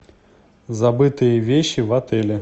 забытые вещи в отеле